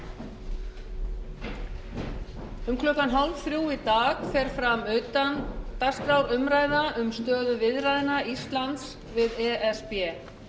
um klukkan fjórtán þrjátíu í dag fer fram utandagskrárumræða um stöðu viðræðna íslands við e s b